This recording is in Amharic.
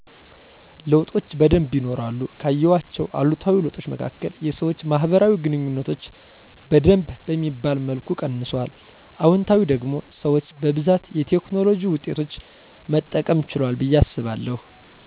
ለዉጦች በደንብ ይኖራሉ ካየዋቸዉ አሉታዊ ለዉጦች መካከል የሰወች ማህበራዊ ግንኙነቶች በደንብ በሚባል መልኩ ቀንሱአል። አዎንታዊ ደግሞ ሰወች በብዛት የቴክኖሎጅ ዉጤቶች መጠቀም ችለዋል በየ አሰባለዉ።